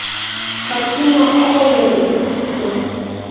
картина холлеры запусти ка